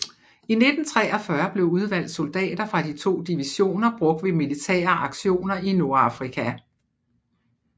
I 1943 blev udvalgte soldater fra de to divisioner brugt ved militære aktioner i Nordafrika